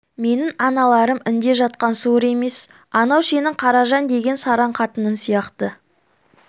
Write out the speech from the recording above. менің аналарым інде жатқан суыр емес анау сенің қаражан деген сараң қатының сияқты